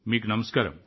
మీకు నమస్కారం